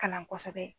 Kalan kosɛbɛ